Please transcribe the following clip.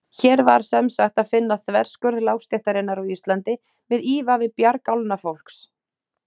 Hér var semsagt að finna þverskurð lágstéttarinnar á Íslandi með ívafi bjargálna fólks.